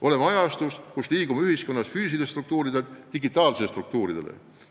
Oleme ajastus, kus ühiskonnas toimub üleminek füüsilistelt struktuuridelt digitaalsetele struktuuridele.